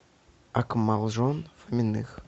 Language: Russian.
акмалжон фоминых